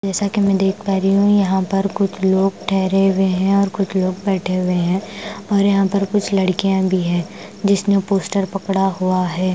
जैसा कि मैं देख पा रही हूं यहां पर कुछ लोग ठहरे हुए हैं और कुछ लोग बैठे हुए हैं और यहां पर कुछ लड़कियां भी है जिसने पोस्टर पकड़ा हुआ है।